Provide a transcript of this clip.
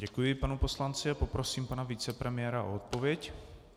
Děkuji panu poslanci a poprosím pana vicepremiéra o odpověď.